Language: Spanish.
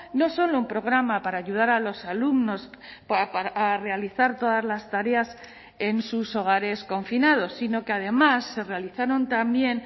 no solo un programa para ayudar a los alumnos a realizar todas las tareas en sus hogares confinados sino que además se realizaron también